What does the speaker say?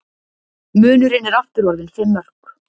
Munurinn er aftur orðinn fimm mörk